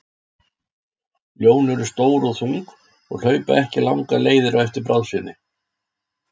Ljón eru stór og þung og hlaupa ekki langar leiðir á eftir bráð sinni.